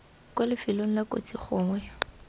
kwa lifelong la kotsi gongwe